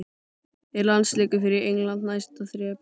Er landsleikur fyrir England næsta þrep?